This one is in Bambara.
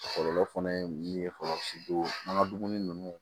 Kɔlɔlɔ fana ye min ye fɔlɔ an ka dumuni ninnu